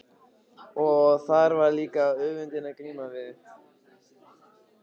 Og þar var líka öfundin að glíma við.